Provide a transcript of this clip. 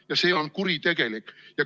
Ja see on kuritegelik.